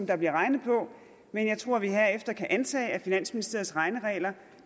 der bliver regnet på men jeg tror vi herefter kan antage at finansministeriets regneregler